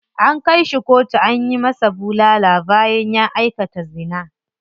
An kai shi kotu an masa bulala bayan ya aikata zina.